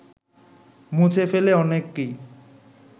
মুছে ফেলে অনেককেই